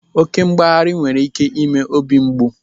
Oké mgbaghari nwere ike ime obi mgbu.